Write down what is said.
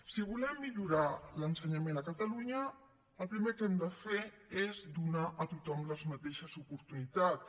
si volem millorar l’ensenyament a catalunya el primer que hem de fer és donar a tothom les mateixes oportunitats